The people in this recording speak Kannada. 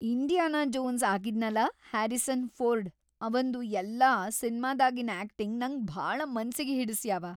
ಇಂಡಿಯಾನಾ ಜೋನ್ಸ್ ಆಗಿದ್ನಲಾ ಹ್ಯಾರಿಸನ್ ಫೋರ್ಡ್ ಅವಂದು ಎಲ್ಲಾ ಸಿನ್ಮಾದಾಗಿನ್ ಆಕ್ಟಿಂಗ್‌ ನಂಗ್ ಭಾಳ ಮನಸ್ಸಿಗಿ ಹಿಡಸ್ಯಾವ.